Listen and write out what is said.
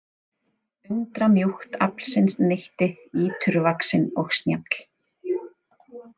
Undramjúkt aflsins neytti íturvaxinn og snjall.